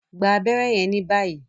gbà abéré yen ní báyìí!